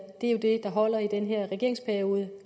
er jo det der holder i den her regeringsperiode